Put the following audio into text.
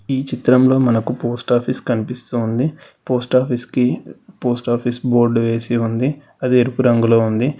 ఈ చిత్రంలో మనకు పోస్ట్ ఆఫీస్ కనిపిస్తుంది పోస్ట్ ఆఫీస్ కి పోస్ట్ ఆఫీస్ బోర్డు వేసి ఉంది అది ఎరుపు రంగులో ఉంది.